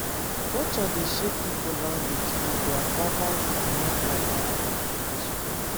culture dey shape pipo language and their verbal and non-verbal communication